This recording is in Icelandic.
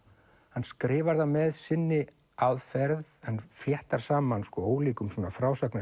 hann skrifar það með sinni aðferð en fléttar saman ólíkum